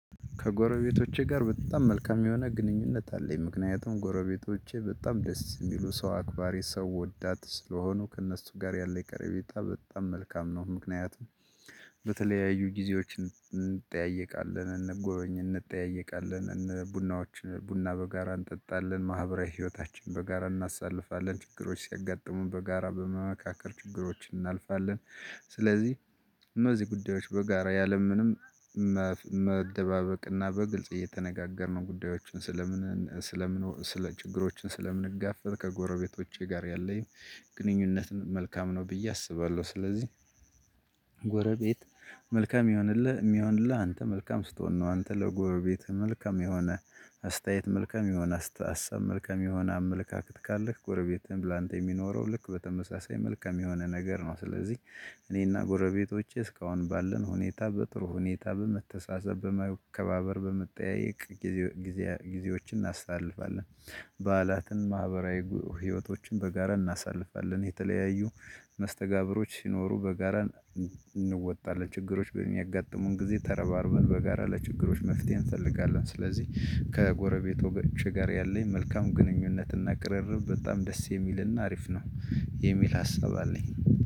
ከጎረቤቶቼ ጋር በጣም መልካም የሆነ ግንኙነት አለኝ ምክንያቱም ጎረቤቶቼ በጣም ደስ የሚሉ ሰው አክባሪ ሰው ወዳድ ስለሆኑ ከእነሱ ጋር ያለኝ ቀረቤታ በጣም መልካም ነው። ምክንያቱም በተለያዩ ጊዜዎች እንጠያየቃለን እንጎበኝ እንጠያየቃለን ቡናዎች ቡና በጋራ እንጠጣለን ማህበራዊ ህይወታችን በጋራ እናሳልፋለን ችግሮች ሲያጋጥሙን በጋራ በመመካከር ችግሮች እናልፋለን ስለዚህ እነዚህ ጉዳዮች በጋራ ያለምንም መደባበቅና በግልጽ እየተነጋገርን ጉዳዮችን ስለምን ስለምን ስለችግሮችን ስለምንጋፈጥ ከጎረቤቶቼ ጋር ያለኝ ግንኙነትን መልካም ነው ብዬ አስባለሁ። ስለዚህ ጎረቤት መልካም ይሆንልህ የሚሆንልህ አንተ መልካም ስትሆን ነው። አንተ ለጎረቤትህ መልካም የሆነ አስተያየት መልካም የሆነ አሳብ መልካም የሆነ አመለካከት ካለክ ጎረቤትህን ላንተ የሚኖረው ልክ በተመሳሳይ መልካም የሆነ ነገር ነው። ስለዚህ እኔና ጎረቤቶቼ እስካሁን ባለን ሁኔታ በጥሩ ሁኔታ በመተሳሰብ በመከባበር በመጠያየቅ ጊዜ ጊዜዎችን እናስታልፋለን። በዓላትን ማህበራዊ ህይወቶችን በጋራ እናሳልፋለን የተለያዩ መስተጋብሮች ሲኖሩ በጋራ እንወጣለን ችግሮች በሚያጋጥሙን ጊዜ ተረባርበን በጋራ ለችግሮች መፍትሄ እንፈልጋለን። ስለዚህ ከጎረቤቶቸ ጋር ያለኝ መልካም ግንኙነት እና ቅርርብ በጣም ደስ የሚልና አሪፍ ነው የሚል ሀሳብ አለኝ።